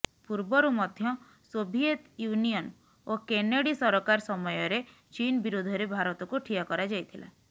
ପୂର୍ବରୁ ମଧ୍ୟ Soviet Union ଓ କେନେଡି ସରକାର ସମୟରେ ଚୀନ ବିରୋଧରେ ଭାରତକୁ ଠିଆ କରାଯାଇଥିଲା